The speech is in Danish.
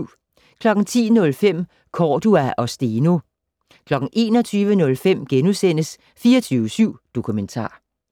10:05: Cordua og Steno 21:05: 24syv Dokumentar *